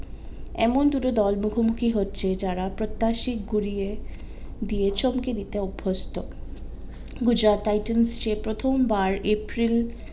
এমন দুটো দল মুখোমুখি হচ্ছে যারা প্রত্যাশী গুরিয়ে দিয়ে চমকে দিয়তে অভস্ত্য গুজরাট টাইটান্স যে প্রথম বার april